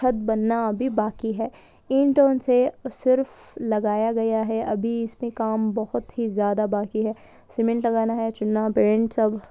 छत बनना अभी बाकी हैं ईंटो से सिर्फ लगाया गया हैं अभी इसमें काम बहोत ही ज्यादा बाकी हैं सीमेंट लगाना हैं चूना पेंट सब--